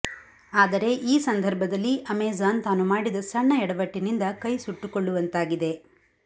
ಆದರೆ ಈ ಸಂದರ್ಭದಲ್ಲಿ ಅಮೆಜಾನ್ ತಾನು ಮಾಡಿದ ಸಣ್ಣ ಯಡವಟ್ಟಿನಿಂದ ಕೈ ಸುಟ್ಟುಕೊಳ್ಳುವಂತಾಗಿದೆ